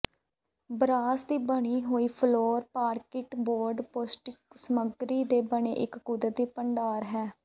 ਬਾਂਸ ਦੀ ਬਣੀ ਹੋਈ ਫਲੋਰ ਪਾਰਕਿਟ ਬੋਰਡ ਪੌਸ਼ਟਿਕ ਸਾਮੱਗਰੀ ਦੇ ਬਣੇ ਇਕ ਕੁਦਰਤੀ ਭੰਡਾਰ ਹੈ